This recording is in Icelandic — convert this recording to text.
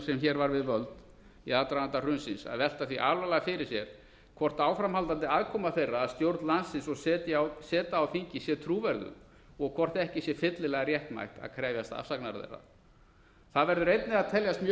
sem hér var við völd í aðdraganda hrunsins að velta því alvarlega fyrir sér hvort áframhaldandi aðkoma þeirra að stjórn landsins og seta á þingi sé trúverðug og hvort ekki sé fyllilega réttmætt að krefjast afsagnar þeirra það verður einnig að teljast mjög